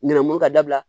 Ŋanamu ka dabila